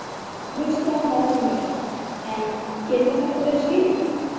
Kristján Már Unnarsson: En getur þetta verið skýringin?